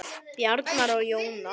Bjarni og Jónas.